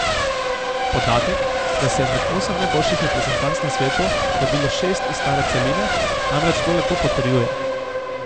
Podatek, da se je med osem najboljših reprezentanc na svetu prebilo šest iz stare celine, namreč to lepo potrjuje.